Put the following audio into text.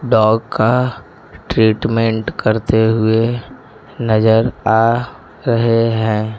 Dog का treatment करते हुए नजर आ रहे हैं।